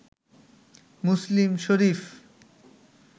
Muslim Sharif